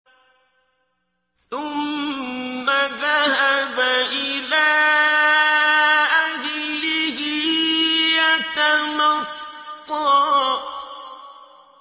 ثُمَّ ذَهَبَ إِلَىٰ أَهْلِهِ يَتَمَطَّىٰ